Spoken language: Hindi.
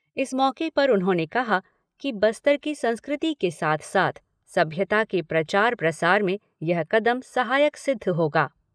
इस मौके पर उन्होंने कहा कि बस्तर की संस्कृति के साथ साथ सभ्यता के प्रचार प्रसार में यह कदम सहायक सिद्ध होगा।